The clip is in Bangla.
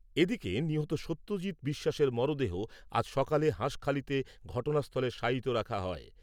এদিকে, নিহত সত্যজিত বিশ্বাসের মরদেহ আজ সকালে হাঁসখালিতে ঘটনাস্থলে শায়িত রাখা হয়।